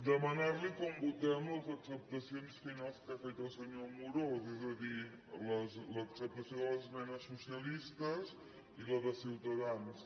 demanar li com votem les acceptacions finals que ha fet el senyor amorós és a dir l’acceptació de les esmenes socialistes i la de ciutadans